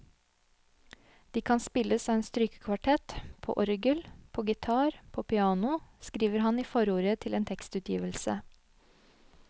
De kan spilles av en strykekvartett, på orgel, på gitar, på piano, skriver han i forordet til en tekstutgivelse.